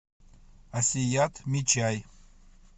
асият мичай